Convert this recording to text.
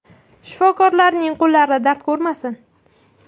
Shifokorlarning qo‘llari dard ko‘rmasin.